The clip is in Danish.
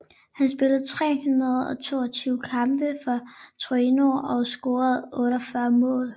Han spillede 322 kampe for Torino og scorede 48 mål